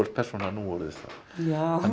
persóna nú orðið hann er